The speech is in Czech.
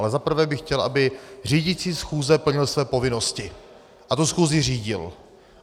Ale za prvé bych chtěl, aby řídící schůze plnil své povinnosti a tu schůzi řídil.